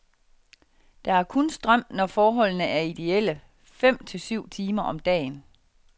Der er kun strøm, når forholdene er idéelle, fem til syv timer om dagen.